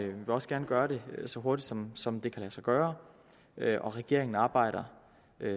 vil også gerne gøre det så hurtigt som som det kan lade sig gøre og regeringen arbejder